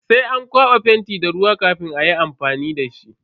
Sai an kwaba fenti da ruwa kafin ayi amfani dashi.